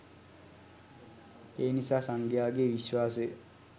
එනිසා සංඝයාගේ විශ්වාසය